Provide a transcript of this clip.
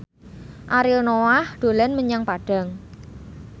Ariel Noah dolan menyang Padang